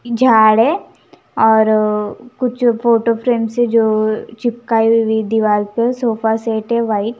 झाड़ है और कुछ फोटो फ्रेम से जो चिपकाई हुई दीवार पे सोफा सेट है वाइट .